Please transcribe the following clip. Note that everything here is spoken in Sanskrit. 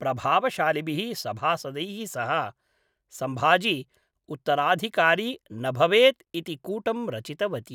प्रभावशालिभिः सभासदैः सह, सम्भाजी उत्तराधिकारी न भवेत् इति कूटं रचितवती।